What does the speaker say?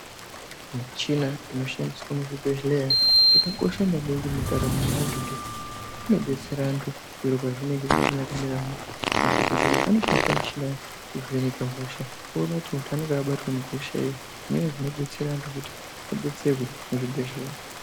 Muchina inoshandiswe muzvibhehleya yakakosha maningi mundaramo yeantu ngekuti inodetsera antu zviro pazvinenge zvisina kumira mushe ,madhokodheya anoshandise muchina kuvheneka hosha oone kuti unonga wakabatwa nehosha iri zviro zvinodetsera antu kuti abetserwe muzvibhehleya.